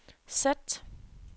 sæt